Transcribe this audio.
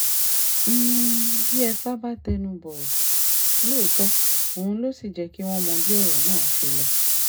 n ní diefah bá tẹnu bọ̀rọ̀ lóòótọ́ òun ló sì jẹ́ kí wọ́n mọ bí ọ̀rọ̀ náà ṣe lọ